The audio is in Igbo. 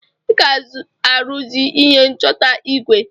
Ị ga-aruzi ihe nchọta igwe.